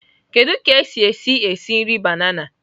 Kedu ka esi esi esi nri banana?